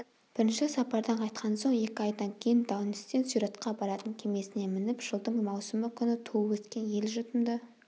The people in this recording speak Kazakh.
бірінші сапардан қайтқан соң екі айдан кейін даунстен сюратқа баратын кемесіне мініп жылдың маусымы күні туып-өскен ел-жұртымды